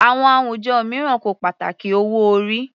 Àwọn àwùjọ mìíràn kò pàtàkì owó orí.